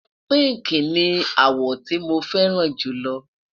pinki ní àwo tí mọ fẹràn julo